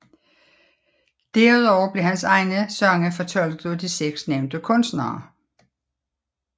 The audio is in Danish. Derudover blev hans egne sange fortolket af de 6 nævnte kunstnere